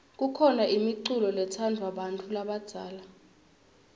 kukhona imiculo letsandvwa bantfu labadzala